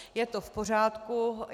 Je to v pořádku.